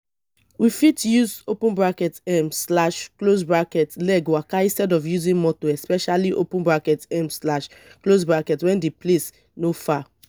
we fit use um leg waka instead of using motor especially um when di place no far